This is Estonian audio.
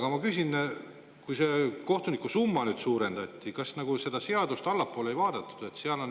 Aga ma küsin: kui seda kohtuniku tasu nüüd suurendati, kas seda ei vaadatud?